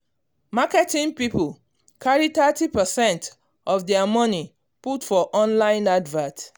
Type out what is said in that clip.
marketing people carry Thirty percent of their money put for online advert